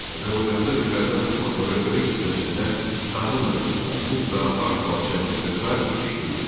Azərbaycanda becərilən torpaqların böyük hissəsində taxıl məhsulları buğda, arpa, çəltik və sair yetişdirilirdi.